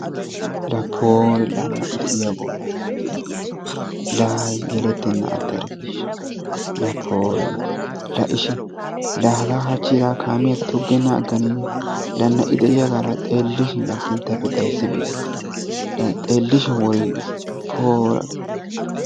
La Poori la na'i de'iyaago! la na'i de'iyaago! la yelettenen attarkkiishsha! la pooriga la ishi la haga hachchi la kaamiya toggenan agganeyye? La na'i de'iyaaga la xeelishin la sinttappe xayssibaystene. la xeelishin worigiisi poora!